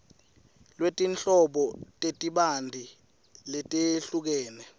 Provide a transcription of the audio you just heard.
lwetinhlobo letibanti letehlukene